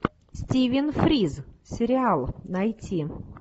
стивен фрирз сериал найти